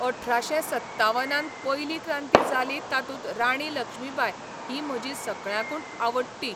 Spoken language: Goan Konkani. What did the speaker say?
अठराशें सत्तावनान पयली क्रांती जाली तातूंत राणी लक्ष्मीबाय ही म्हजी सगळ्यांकून आवडटी